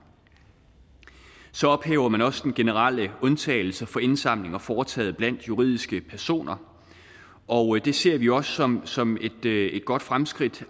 så ophæver man også den generelle undtagelse for indsamlinger foretaget blandt juridiske personer og det ser vi også som som et godt fremskridt